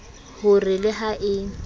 ho re le ha e